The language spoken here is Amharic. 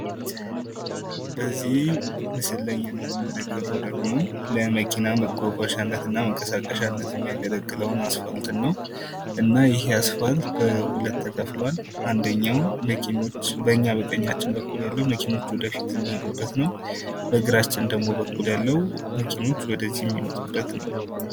በዚህ ላይ የምንመለከተው ደግሞ ለመኪና መጓጓዣነትና መንቀሳቀሻነት የሚያገለግለውን አስፋልት ነው። እና ይህ አስፋልት ለሁለት ተከፍሏል አንደኛው በኛ በቃኝያችን በኩል ያለው መኪኖች ወደፊት የሚሄዱበት ነው በግራችን በኩል ያለው ደግሞ መኪኖች ወደዚህ የሚመጡበት ነው።